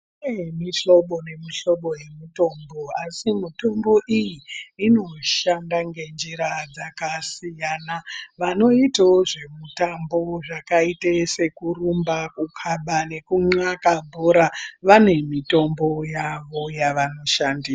Kune muhlobo nemuhlobo yemutombo, asi mutombo iyi, inoshanda ngenjira dzakasiyana. Vanoitawo zvemutambo yakaita sekurumba ,kukhaba nekunxaka bhora, vane mitombo yavo yevanoshandisa.